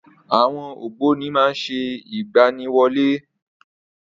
Àwọn ògbóni má ń ṣe ìgbaniwọlé.